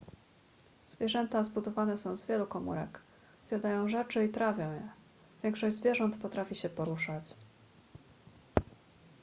zwierzęta zbudowane są z wielu komórek zjadają rzeczy i trawią je większość zwierząt potrafi się poruszać